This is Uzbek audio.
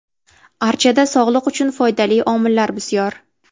Archada sog‘liq uchun foydali omillar bisyor.